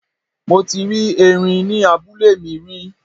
Mo ti rí erin ní abúlé mi rí.